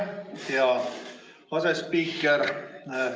Aitäh, hea asespiiker!